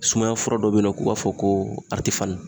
Sumaya fura dɔ be yen nɔ k'o b'a fɔ ko aritefani